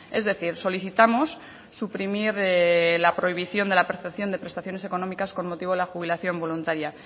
es decir solicitamos suprimir la prohibición de la percepción de prestaciones económicas con motivo de la jubilación voluntaria